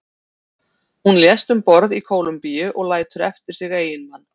hún lést um borð í kólumbíu og lætur eftir sig eiginmann